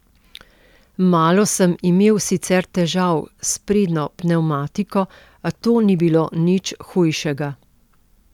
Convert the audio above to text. Malo sem imel sicer težav s sprednjo pnevmatiko, a to ni bilo nič hujšega.